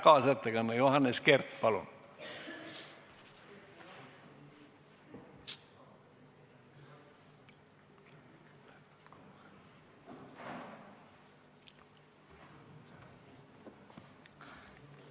Kaasettekanne, Johannes Kert, palun!